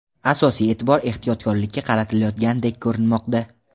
Asosiy e’tibor ehtiyotkorlikka qaratilayotgandek ko‘rinmoqda.